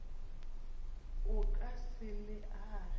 o ka se le age